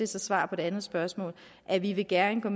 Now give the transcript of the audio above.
så svar på det andet spørgsmål at vi vi gerne